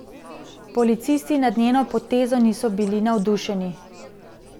Policisti nad njeno potezo niso bili navdušeni.